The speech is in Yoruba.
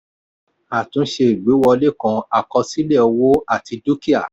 àtúnṣe ìgbéwọlé kàn àkọsílẹ̀ owó àti dúkìá.